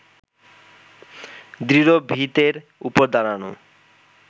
দৃঢ় ভিতের ওপর দাঁড়ানো